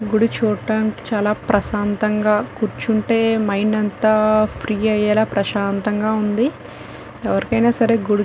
గుడి చుటానికి చాలా ప్రశాంతంగా కూర్చుంటే మైండ్ అంతా ఫ్రీ అయ్యేలా ప్రశాంతంగా ఉంది ఎవ్వరికైనాసరే గుడికి --